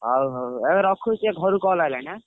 ହଉ ହଉ ଏ ରଖୁଛି ଘରୁ ଟିକେ call ଆଇଲାଣି ଆଁ!